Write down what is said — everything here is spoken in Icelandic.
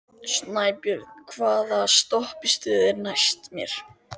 Snæbjört, hvaða stoppistöð er næst mér?